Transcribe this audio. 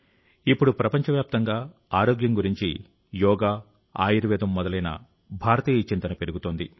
ఇప్పుడు ప్రపంచవ్యాప్తంగా ఆరోగ్యం గురించి యోగ ఆయుర్వేదం మొదలైన భారతీయ చింతన పెరుగుతోంది